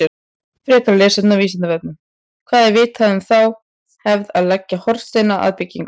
Frekara lesefni á Vísindavefnum: Hvað er vitað um þá hefð að leggja hornsteina að byggingum?